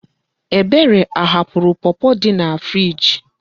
Ebere ahapụrụ pọpọ dị na friiji?